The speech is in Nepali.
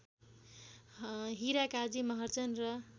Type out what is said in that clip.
हिराकाजी महर्जन र